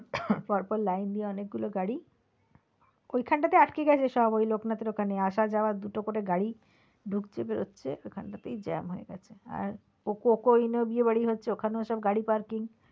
পর পর line দিয়ে অনেকগুলো গাড়ি ওইখান টা তে আটকে গেছে সব ওই লোকনাথের ওখানে আসা যাওয়া দুটো করে গাড়ি ঢুকছে বেরোচ্ছে ওইখানটা তেই jam হয়ে গেছে আর coke oven এও বিয়ে বাড়ি হচ্ছে ওখানেও সব গাড়ি parking